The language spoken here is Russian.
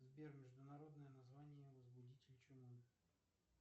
сбер международное название возбудитель чумы